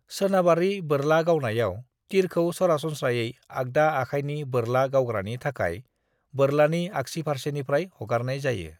"सोनाबारि बोरला गावनायाव, तीरखौ सरासनस्रायै आगदा आखायनि बोरला गावग्रानि थाखाय बोरलानि आक्सि फारसेनिफ्राय हगारनाय जायो।"